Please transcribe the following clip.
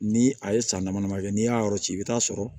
Ni a ye san dama dama kɛ n'i y'a yɔrɔ ci i bɛ taa sɔrɔ